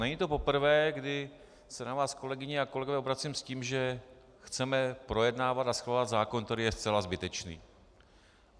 Není to poprvé, kdy se na vás, kolegyně a kolegové, obracím s tím, že chceme projednávat a schvalovat zákon, který je zcela zbytečný.